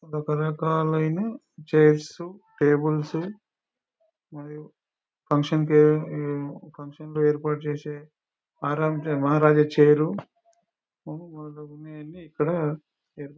రకరకాలైన chairs tables మరియు function కి ఫంక్షన్ లో ఏర్పాటు చేసే మహారాజా చైరు ఇక్కడా--